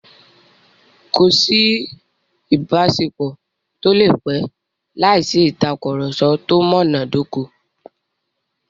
Kò sí ìbáṣepọ̀ tó lè pẹ́ láìsí ìtàkurọ̀sọ tó múná dóko.